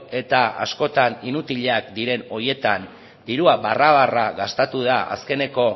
eta askotan inutilak diren horietan dirua barra barra gastatu da azkeneko